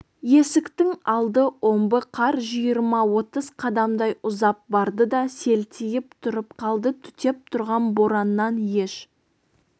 есіктің алды омбы қар жиырма-отыз қадамдай ұзап барды да селтиіп тұрып қалды түтеп тұрған бораннан еш